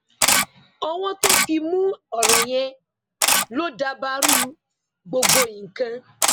ọwọ tó fi mú ọrọ yẹn lọ dabarú gbogbo nǹkan